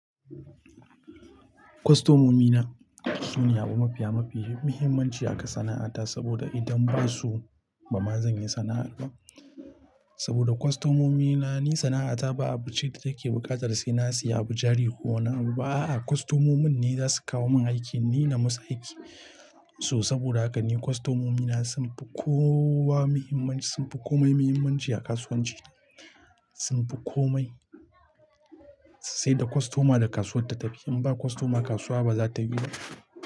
Kwastomomi na su ne abu mafiya mafi muhimmanci a kan san'a'ata saboda idan ba su ba, ba zan yi sana'ar ba. Saboda kwastomomi na ni sana'ata ba abu ce da take buƙatar sai na siya abu jari ko na abu ba. A'a kwastomomin ne za su kawo min aiki, ni na musu aiki. So saboda haka ne kwastomomi na sun fi kowa muhimmanci, sun fi komai muhimmanci a kasuwanci. Sun fi komai, sai da kwastoma da kasuwa ta tafi. In ba kwastoma kasuwa ba za ta bi.